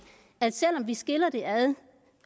at selv om vi skiller det ad